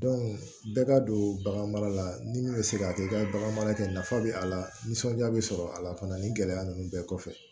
bɛɛ ka don bagan mara la ni min bɛ se k'a kɛ i ka bagan mara kɛ nafa bɛ a la nisɔndiya bɛ sɔrɔ a la fana ni gɛlɛya ninnu bɛɛ kɔfɛ